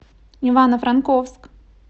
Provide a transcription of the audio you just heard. ивано франковск